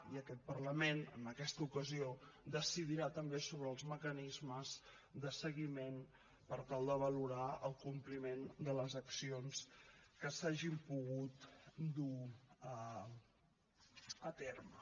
i aquest parlament en aquesta ocasió decidirà també sobre els mecanismes de seguiment per tal de valorar el compliment de les accions que s’hagin pogut dur a terme